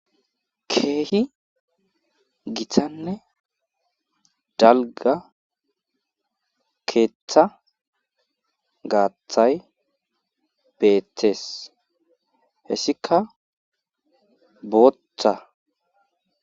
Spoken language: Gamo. Keehi gitanne dalga gaathay beetes , hesika bootha.